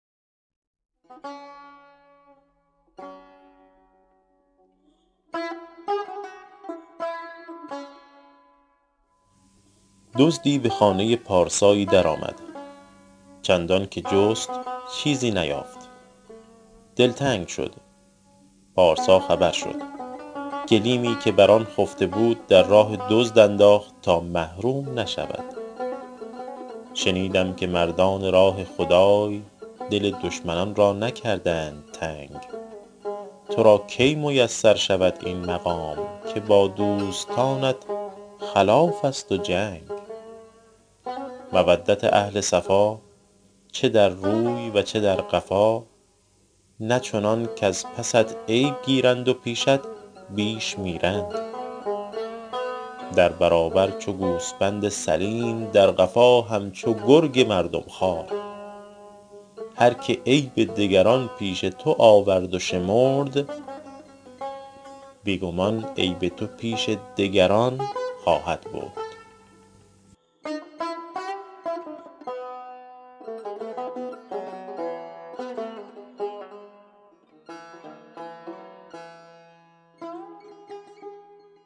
دزدی به خانه پارسایی در آمد چندان که جست چیزی نیافت دلتنگ شد پارسا خبر شد گلیمی که بر آن خفته بود در راه دزد انداخت تا محروم نشود شنیدم که مردان راه خدای دل دشمنان را نکردند تنگ تو را کی میسر شود این مقام که با دوستانت خلاف است و جنگ مودت اهل صفا چه در روی و چه در قفا نه چنان کز پست عیب گیرند و پیشت بیش میرند در برابر چو گوسپند سلیم در قفا همچو گرگ مردم خوار هر که عیب دگران پیش تو آورد و شمرد بی گمان عیب تو پیش دگران خواهد برد